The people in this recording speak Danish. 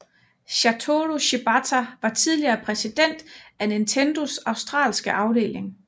Satoru Shibata var tidligere præsident af Nintendos australske afdeling